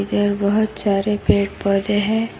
इधर बहुत सारे पेड़ पौधे हैं।